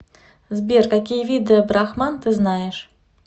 сбер какие виды брахман ты знаешь